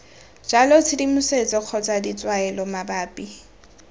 jalo tshedimosetso kgotsa ditshwaelo mabapi